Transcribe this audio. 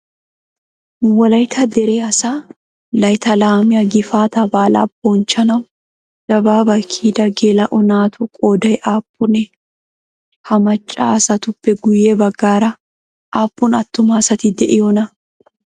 Wolayitta dere asaa layittaa laamiyaa gifaataa baala bonchchanawu dabaabaa kiyida geela'o naatu qoodayii aappunee? Ha macca asatuppe guyye baggaara aappun attuma asati de'iyoonaa?